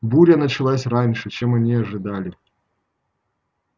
буря началась раньше чем они ожидали